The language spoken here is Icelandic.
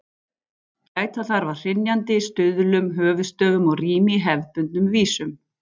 Gæta þarf að hrynjandi, stuðlum, höfuðstöfum og rími í hefðbundnum vísum.